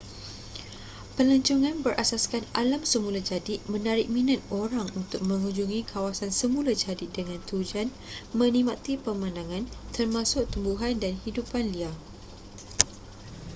pelancongan berasaskan alam semula jadi menarik minat orang untuk mengunjungi kawasan semula jadi dengan tujuan menikmati pemandangan termasuk tumbuhan dan hidupan liar